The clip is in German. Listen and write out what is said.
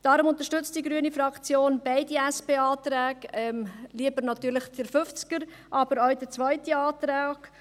Deshalb unterstützt die grüne Fraktion beide SP-Anträge, lieber natürlich den «50er», aber auch den zweiten Antrag.